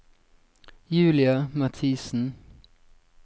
Julia Mathisen